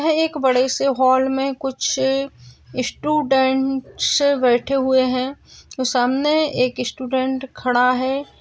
यहा एक बड़े से हॉल मे कुछ इस्टूडेंट्स बैठे हुए है। सामने एक इस्टूडेंट खड़ा है।